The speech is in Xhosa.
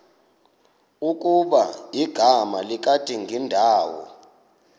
ukuba igama likadingindawo